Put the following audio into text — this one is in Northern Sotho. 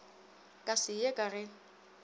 ka se ye ka ge